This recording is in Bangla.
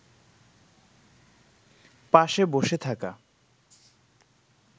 পাশে বসে থাকা